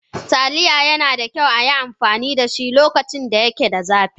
Taliya yana da kyau a yi amfani da su lokacin da yake zafi.